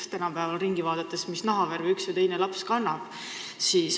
Tänapäeval ringi vaadates pole vahet, mis nahavärviga üks või teine laps on.